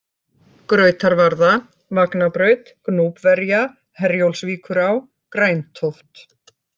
Grautarvarða, Vagnabraut Gnúpverja, Herjólfsvíkurá, Græntóft